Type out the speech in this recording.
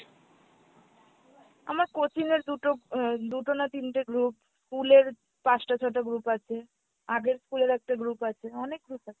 আমার coaching এর দুটো এহ দুটো না তিনটে group, school এর পাঁচটা ছয়টা group আছে, আগের school এর একটা group আছে, অনেক group আছে।